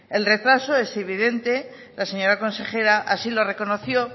el retraso es evidente la señora consejera así lo reconoció